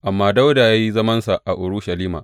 Amma Dawuda ya yi zamansa a Urushalima.